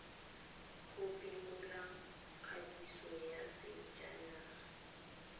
go phimola kwadiso ya sejanaga